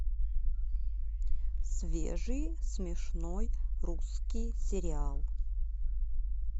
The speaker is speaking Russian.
свежий смешной русский сериал